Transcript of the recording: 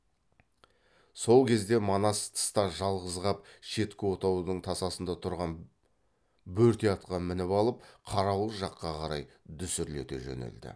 сол кезде манас тыста жалғыз қап шеткі отаудың тасасында тұрған бөрте атқа мініп алып қарауыл жаққа қарай дүсірлете жөнелді